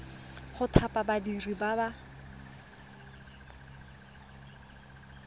go thapa badiri ba ba